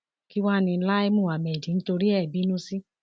kí wàá ní lai muhammed ń torí ẹ bínú sí